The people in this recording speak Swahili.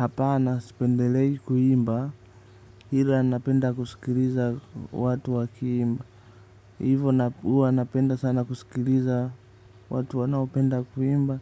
Hapana sipendelei kuimba ila napenda kusikiliza watu wakiimba hivo huwa napenda sana kusikiliza watu wanaopenda kuimba